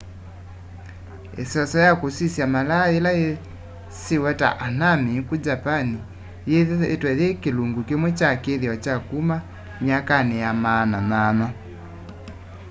iseso ya kusisya malaa yila yisiwe ta hanami ku japan yithiitwe yi kilungu kimwe kya kithio kya kuma myakani ya maana 8